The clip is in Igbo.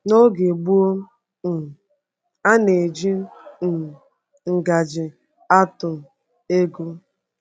N’oge gboo, um a na-eji um ngaji atụ ego.